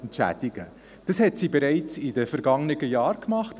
Dies machte sie bereits in den vergangenen Jahren.